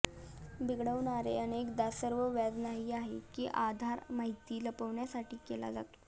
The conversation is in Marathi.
बिघडवणारे अनेकदा सर्व व्याज नाही आहे की आधार माहिती लपविण्यासाठी केला जातो